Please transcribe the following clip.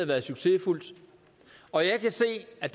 været succesfuldt og jeg kan se at